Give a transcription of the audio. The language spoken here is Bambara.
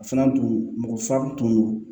A fana tun mɔgɔ fila tun don